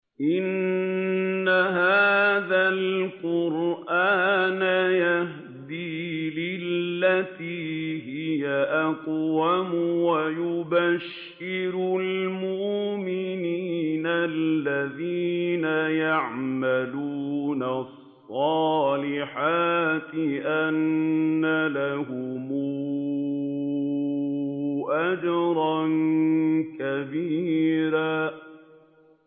إِنَّ هَٰذَا الْقُرْآنَ يَهْدِي لِلَّتِي هِيَ أَقْوَمُ وَيُبَشِّرُ الْمُؤْمِنِينَ الَّذِينَ يَعْمَلُونَ الصَّالِحَاتِ أَنَّ لَهُمْ أَجْرًا كَبِيرًا